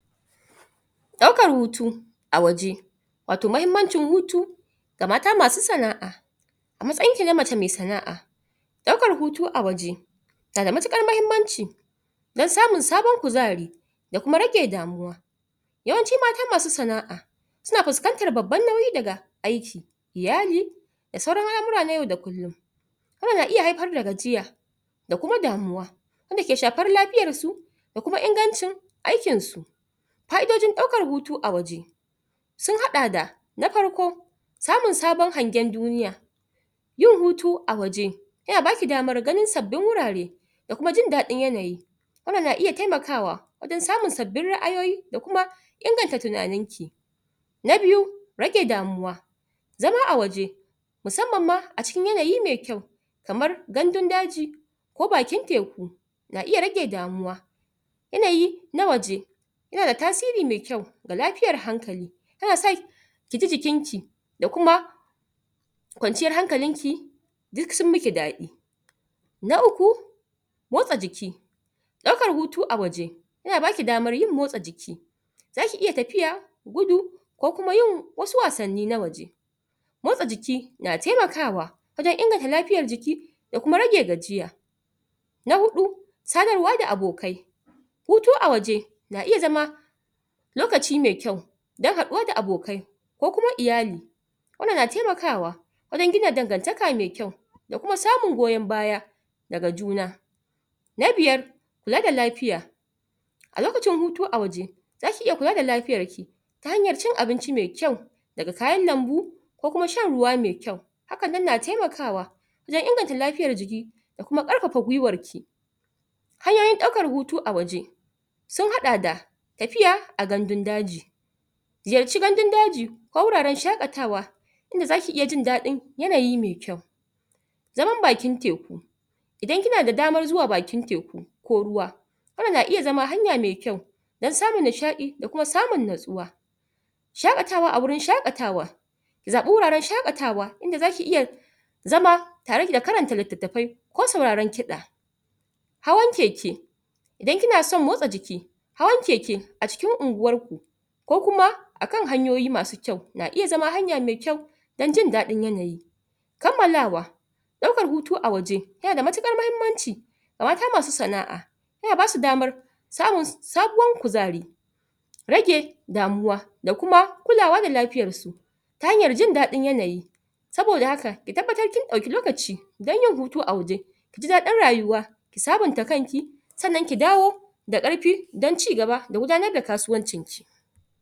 Ɗaukan hutu a waje, wato muhimmancin hutu ga mata masu sana'a. A matsayinki na mace mai sana'a, ɗaukan hutu a waje yana da matuƙar muhimmanci don samun sabon kuzari da kuma rage damuwa. Yawanci mata masu sana'a suna fuskantar babban nauyi daga aiki, iyali da sauran al'amura na yau da kullum. kuma na iya haifar da gajiya da kuma damuwa wanda ke shafar lafiyarsu da kuma ingancin aikinsu. Fa'idojin ɗaukan a waje sun haɗa da: na farko, samun sabon hangen duniya yin hutu a waje yana ba ki damar ganin sabbin wurare da kuma jin daɗin yanayi wannan na iya taimakawa wajen samun sabbin ra'ayoyi da kuma inganta tunaninki. Na biyu, rage damuwa. Zama a waje musamman ma a cikin yanayi mai kyau kamar gandun daji ko bakin teku na iya rage damuwa yanayi na waje yana da tasiri mai kyau ga lafiyar hankali. Yana sa ki ji jikinki da kuma kwanciyar hankalinki duk sun miki daɗi. Na uku, motsa jiki. Ɗaukar hutu a waje, yana ba ki damar yin motsa jiki za ki iya tafiya, gudu ko kuma yin wasu wasanni na waje Motsa jiki na taimakawa wajen inganta lafiyar jiki da kuma rage tafiya. Na huɗu, sadarwa da abokai. Hutu a waje na iya zama lokaci mai kyau don haɗuwa da abokai ko kuma iyali. Yana taimakawa wajen gina dangantaka mai kyau da kuma samun goyon baya daga juna. Na biyar, kula da lafiya. A lokacin hutu a waje, za ki iya kula da lafiyarki ta hanyar cin abinci mai kyau daga kayan lambu ko kuma shan ruwa mai kyau. Haka nan na taimakawa wajen inganta lafiyar jiki da kuma ƙarfafa gwiwarki. Hanyoyin ɗaukar hutu a waje sun haɗa da tafiya a gandun daji Ziyarci gandun daji ko guraren shaƙatawa kuma za ki iya jin daɗin yanayin mai kyau wurin bakin teku. Idan kina da damar zuwa bakin teku ko ruwa, hakan. na iya zama hanya mai kyau don samun nishaɗi da kuma samun natsuwa. Shaƙatawa a wurin shaƙatawa. Zaɓi wuraren shaƙatawa inda za ki iya zama tare da karanta littattafai ko sauraron kiɗa. Hawan keke, idan kina son motsa jiki, hawan keke a cikin unguwarku ko kuma a kan hanyoyi masu kyau na iya zama hanya mai kyau don jin daɗin yanayi Kammalawa. Ɗaukar hutu a waje yana da matuƙar muhimmanci ga mata masu sana'a; yana ba su damar samun sabuwar kuzari, rage damuwa da kuma kulawa da lafiyarsu ta hanyar jin daɗin yanayi saboda haka ki tabbatar kin ɗauki lokaci don yin hutu a waje; ki ji daɗin rayuwa ki sabunta kanki sannan ki dawo da ƙarfi don ci gaba da gudanar da kasuwancinki.